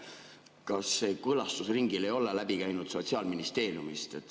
Kas see kooskõlastusringil ei käinud läbi Sotsiaalministeeriumist?